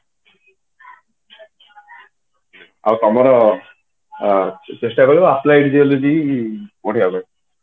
ଆଉ ତମର ଚେଷ୍ଟା ରହିବ apply ହେଇଯିବ ଯଦି ବଢିଆ ହୁଏ